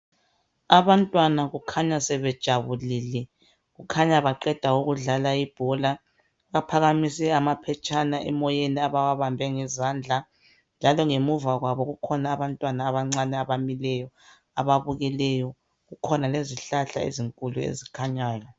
Abantwana kukhanya sebejabulile kukhanya baqeda ukudlala ibhola baphakamise amaphetshana emoyeni abawabambe ngezandla njalo ngemuva kwabo kukhona abantwana abancane abamileyo ababukeleyo kukhona lezihlahla ezinkulu ezikhanyayo.